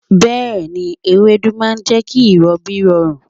Bẹ́ẹ̀ni, ewédú ma jẹ́ kí ìrọbí rọrùn.